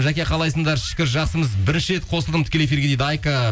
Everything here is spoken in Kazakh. жәке қалайсыңдар шүкір жақсымыз бірінші рет қосылдым тікелей эфирге дейді айка